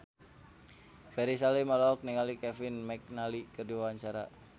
Ferry Salim olohok ningali Kevin McNally keur diwawancara